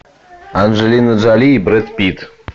анджелина джоли и брэд питт